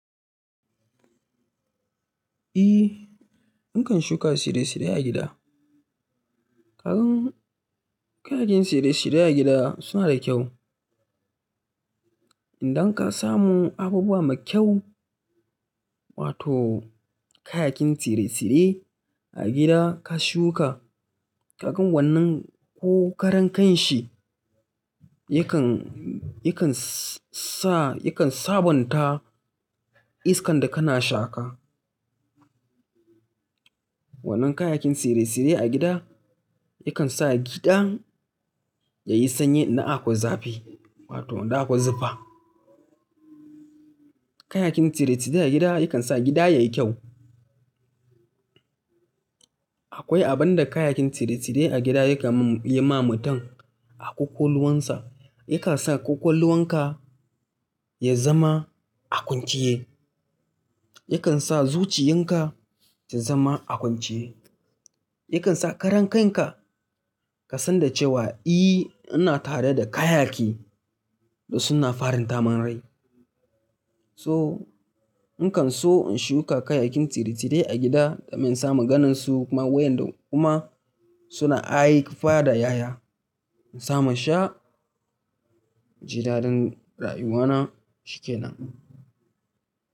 Eh, ikan shuka tsire-tsire a gida. Kayan kayan tsire-tsire a gida suna da kyau. Idan ka samu abubuwa mai kyau wato kayakin tsire-tsire a gida ka shuka, ka gan wannan ko karen kanshi yakan, yakan sa, yakan sabonta iskan da kana shaka. Wannan kayakin tsire-tsire a gida yakan sa gidan yayi sanyi idan a kwai zafi wato idan a kwai zufa. Kayakin tsire-tsire a gida yakan sa gida yayi kyau. Akwai abin da kayakin tsire-tsire a gida yakan yi ma mutum a ƙwaƙwalwarsa, yakan sa ƙwaƙwalwarka ya zama a kwanciye, yakan sa zuciyarka ta zama a kwanciye, yakan sa karen kanka ka san da cewa eh, ina tare da kayaki da suna farin taman rai. So, ikan so in shuka kayakin tsire-tsire a gida domin samin ganinsu kuma wayanda kuma suna aik fadaya. In samu in sha, jidadin rayuwana shikenan.